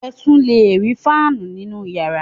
Ẹ tún le rí fáánù nínú ìyàrá.